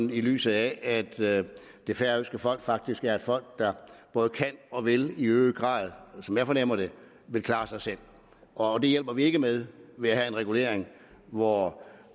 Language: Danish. lyset af at det færøske folk faktisk er et folk der både kan og vil i øget grad som jeg fornemmer det klare sig selv og det hjælper vi ikke med ved at have en regulering hvor